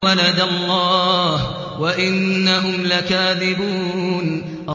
وَلَدَ اللَّهُ وَإِنَّهُمْ لَكَاذِبُونَ